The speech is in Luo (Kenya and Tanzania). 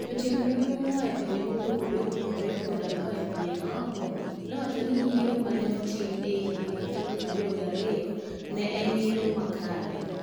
Jotim nonro moa e pinje mopogore opogore koda moa e pinje maoko, nowacho ni yiero ma ne otim e higa 2002 ne en yiero makare.